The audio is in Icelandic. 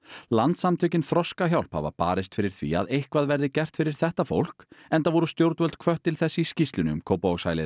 landssamtökin Þroskahjálp hafa barist fyrir því að eitthvað verði gert fyrir þetta fólk enda voru stjórnvöld hvött til þess í skýrslunni um Kópavogshælið